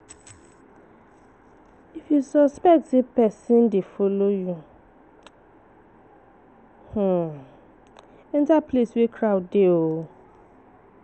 If you suspect say pesin dey follow you, enter place wey crowd dey